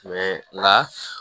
nka